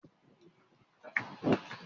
Ǹjẹ́ ilé-ìtajà Jericho máa ṣíṣẹ́ lónìí Sọ́ńdè?